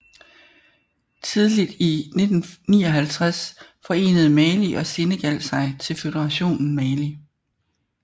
Tidligt i 1959 forenede Mali og Senegal sig til Føderationen Mali